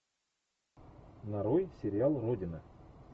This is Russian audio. нарой сериал родина